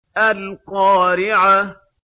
الْقَارِعَةُ